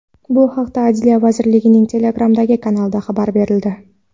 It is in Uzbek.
Bu haqda Adliya vazirligining Telegram’dagi kanalida xabar berildi .